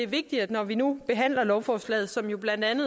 vigtigt når vi nu behandler lovforslaget